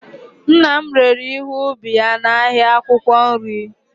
nna m rere ihe ubi ya n'ahịa akwụkwọ nri